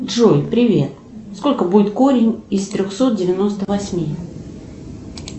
джой привет сколько будет корень из трехсот девяносто восьми